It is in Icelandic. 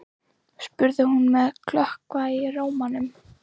spurði hún með klökkva í rómnum.